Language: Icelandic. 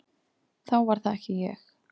Þá var það ekki ég!